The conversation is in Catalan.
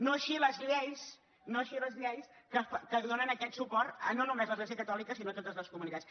no així les lleis no així les lleis que donen aquest suport no només a l’església catòlica sinó a totes les comunitats